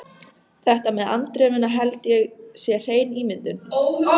Þetta með andremmuna held ég sé hrein ímyndun.